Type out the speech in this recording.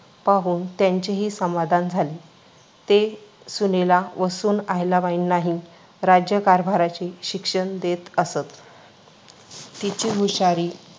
पाहून त्यांचेही समाधान झाले. ते सुनेला व सून अहिल्याबाईंनाही राज्यकारभाराचे शिक्षण देत असत. तिची हुशारी पाहून